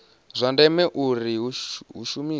zwa ndeme uri hu shumiwe